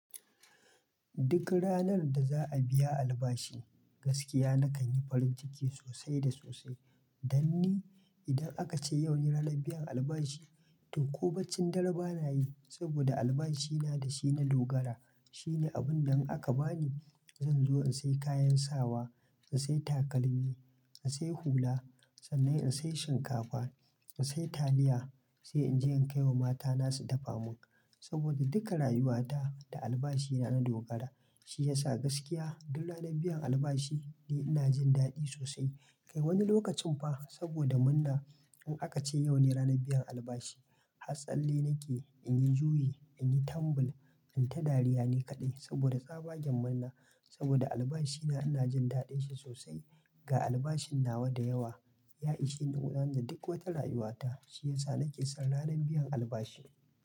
Duk ranar da za a biya albashi, gaskiya na kan yi farin ciki sosai da sosai. Danni idan aka ce yau ne ranar biyan albashi, toh kobaccin dare bana yi saboda albashi na da shi na dogara. Shine abun da in aka bani, zan zo in sai kayan sawa, in sai takalmi, in sai hula, sannan in sai shinkafa, in sai taliya, sai in je in kai wa mata na su dafa mun. Saboda duka rayuwa ta da albashi na na dogara, shi ya sa gaskiya duk ranar biyan albashi ne ina jin daɗi sosai. Kai wani lokacin fa saboda murna in aka ce yau ne ranar biyan albashi, har tsalle nake, in yi juyi, in yi tambul, in ta dariya ni kaɗai saboda tsabaggen murna. Saboda albashi na ina jin daɗin shi sosai. Ga albashin nawa da yawa, ya ishi ni gudanar da duk wata rayuwa ta. Shi ya sa nake son ranar biyan albashi.